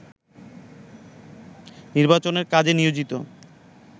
নির্বাচনের কাজে নিয়োজিত